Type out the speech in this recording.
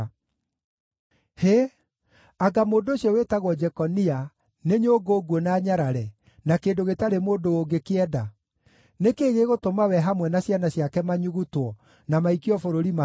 Hĩ anga mũndũ ũcio wĩtagwo Jekonia, nĩ nyũngũ nguũ na nyarare, na kĩndũ gĩtarĩ mũndũ ũngĩkĩenda? Nĩ kĩĩ gĩgũtũma we hamwe na ciana ciake manyugutwo, na maikio bũrũri matooĩ?